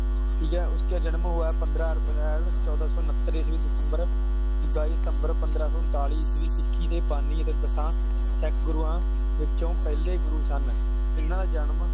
ਠੀਕ ਹੈ ਉਸਕੇ ਜਨਮ ਹੂਆ ਹੈ ਪੰਦਰਾਂ ਅਪ੍ਰੈਲ ਚੋਧਹ ਸੌ ਉਨ੍ਹਤਰ ਈਸਵੀ ਵਿਚ ਚੌਦਹ ਦਸੰਬਰ ਪੰਦ੍ਰਹ ਸੌ ਉਨਤਾਲੀ ਈਸਵੀ ਸਿੱਖੀ ਦੇ ਬਾਣੀ ਤੇ ਦਸਾਂ ਸਿੱਖ ਗੁਰੂਆਂ ਵਿੱਚੋ ਪਹਿਲੇ ਗੁਰੂ ਸਨ ਓਹਨਾ ਦਾ ਜਨਮ